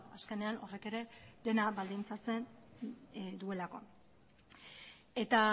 azkenean horrek ere dena baldintzatzen duelako eta